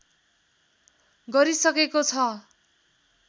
गरिसकेको छ